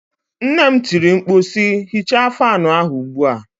Nne m tiri mkpu si, hichaa fanụ ahụ ugbu a!